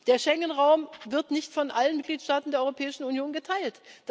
Der Schengen Raum wird nicht von allen Mitgliedstaaten der Europäischen Union geteilt.